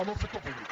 amb el sector públic